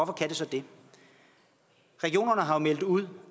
kan det så det regionerne har meldt ud